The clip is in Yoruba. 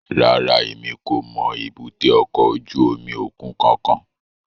Rárá, Emi ko mọ èbúté ọkọ ojú omi okun kankan